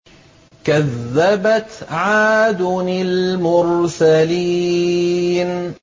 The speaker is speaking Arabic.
كَذَّبَتْ عَادٌ الْمُرْسَلِينَ